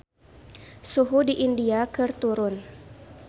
Suhu di India keur turun